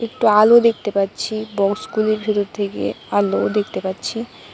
একটু আলো দেখতে পাচ্ছি বক্সগুলির ভিতর থেকে আলো দেখতে পাচ্ছি।